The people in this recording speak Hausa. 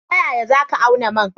Ta yaya za ka auna man?